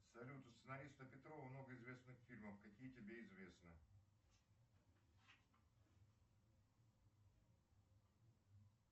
салют у сценариста петрова много известных фильмов какие тебе известны